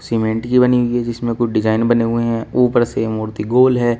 Cement की बनी हुई है जिसमे कुछ डिजाइन बने हुए हैं ऊपर से मूर्ति गोल है।